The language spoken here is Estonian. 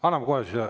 Anname kohe siis.